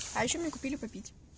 а ещё мне купили попить